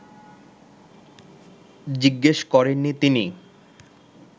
জিজ্ঞেস করেননি তিনি